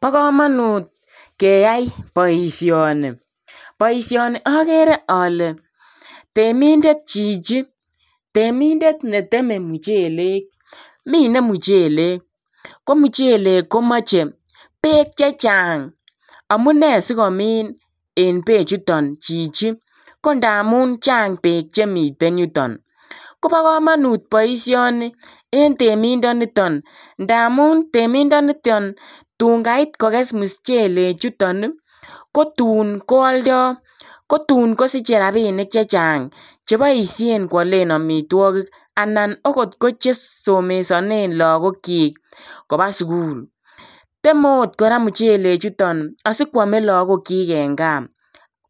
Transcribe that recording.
Bo kamanut keyai boisioni, boisioni akere ale temindet chichi, temindet ne teme muchelek, mine muchelek ko muchelek komoche beek che chang, amune sikomin en beechuton chichi, ko ndamun chang beek chemiten yuton, kobo kamanut boisioni en temindoniton, ndamun temindoniton tun kait kokes muchelechuton ii, kotun koaldoi, kotun kosiche rabiinik chechang che boisien kwalen amitwogik anan okot che somesone lagokyik koba sukul, temet ot kora muchelechuton asi kwame lagokyik eng gaa